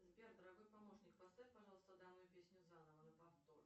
сбер дорогой помощник поставь пожалуйста данную песню заново на повтор